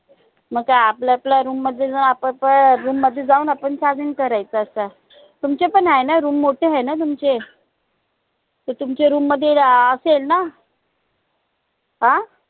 नई त आपल्या आपल्या room मध्ये जाऊन आपापल्या room मध्ये जाऊन आपण charging करायचं असं तुमचे पण हाय न room मोठे हाय न तुमचे त तुमचे room मध्ये अं असेल ना? अं